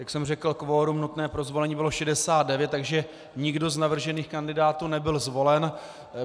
Jak jsem řekl, kvorum nutné pro zvolení bylo 69, takže nikdo z navržených kandidátů nebyl zvolen.